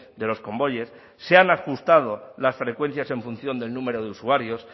de los convoyes se han ajustado las frecuencias en función del número de usuarios